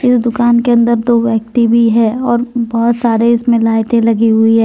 इस दुकान के अंदर दो व्यक्ति भी हैं और बहुत सारे इसमें लाइटें लगी हुई हैं।